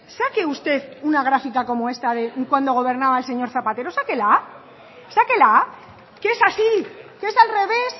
saque usted una gráfica como esta de cuando gobernaba el señor zapatero sáquela que es así que es al revés